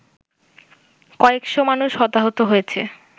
কয়েকশ মানুষ হতাহত হয়েছে